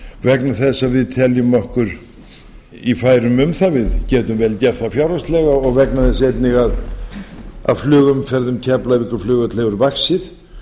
vegna þess að við teljum okkur í færum um það við getum vel gert það fjárhagslega og vegna þess einnig að flugumferð um keflavíkurflugvöll hefur vaxið